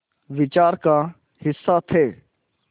विचार का हिस्सा थे